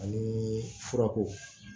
Ani furako